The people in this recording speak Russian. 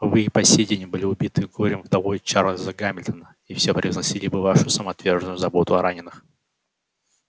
вы и по сей день были убитой горем вдовой чарльза гамильтона и все превозносили бы вашу самоотверженную заботу о раненых